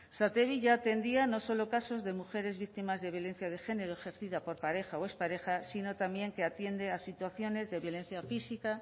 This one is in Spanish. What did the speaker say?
satevi ya atendía no solo casos de mujeres víctimas de violencia de género ejercida por pareja o expareja sino también que atiende a situaciones de violencia física